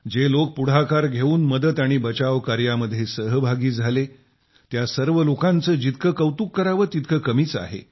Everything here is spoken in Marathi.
जे लोक पुढाकार घेऊन मदत आणि बचाव कार्यामध्ये सहभागी झाले त्या सर्व लोकांचं जितकं कौतुक करावं तितकं कमीच आहे